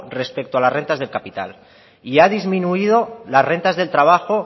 respecto a las rentas del capital y ha disminuido las rentas del trabajo